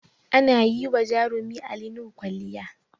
Ana yi wa jarumi Ali Nuhu kwalliya